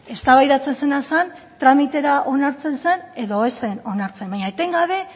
eztabaidatzen zena zen tramitera onartzen zen edo ez zen onartzen baino etengabe